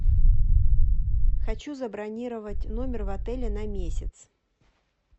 хочу забронировать номер в отеле на месяц